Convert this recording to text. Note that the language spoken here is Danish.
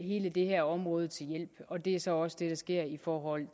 det her område til hjælp og det er så også det der sker i forhold